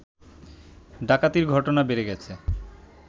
ডাকাতির ঘটনা বেড়েগেছে